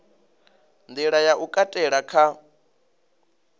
nḓila ya u katela kha